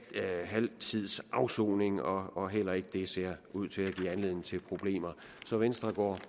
tids afsoning og og heller ikke det ser ud til at give anledning til problemer så venstre går